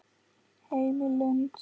Heim í Lund.